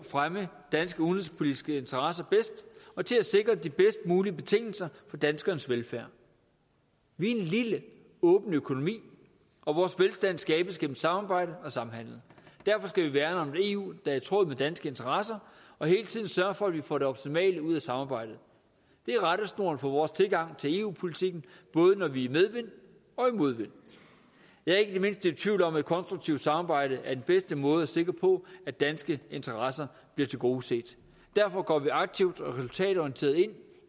fremme danske udenrigspolitiske interesser bedst og til at sikre de bedst mulige betingelser for danskernes velfærd vi er en lille åben økonomi og vores velstand skabes gennem samarbejde og samhandel derfor skal vi værne om et eu er i tråd med danske interesser og hele tiden sørge for at vi får det optimale ud af samarbejdet det er rettesnoren for vores tilgang til eu politikken både når vi er i medvind og i modvind jeg er ikke det mindste i tvivl om at et konstruktivt samarbejde er den bedste måde at sikre at danske interesser bliver tilgodeset derfor går vi aktivt og resultatorienteret ind